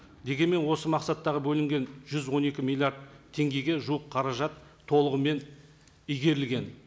дегенмен осы мақсаттағы бөлінген жүз он екі миллиард теңгеге жуық қаражат толығымен игерілген